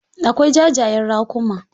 Akwai ja jayen raƙuma.